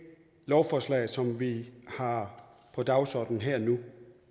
lovforslag som vi har på dagsordenen her og nu